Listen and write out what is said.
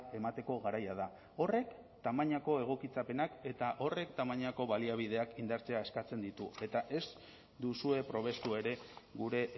emateko garaia da horrek tamainako egokitzapenak eta horrek tamainako baliabideak indartzea eskatzen ditu eta ez duzue probestu ere gure